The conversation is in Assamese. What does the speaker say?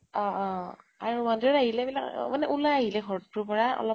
অ অ অ । আৰু মন্দিৰত আহিলে বিলাক মানে উলাই আহিলে ঘৰ তোৰ পৰা অলপ